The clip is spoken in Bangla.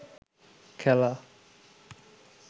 খেলা